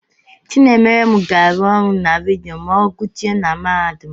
Chinemerem ga-arụ ọrụ na redio ma ọ guchae n'mahadum.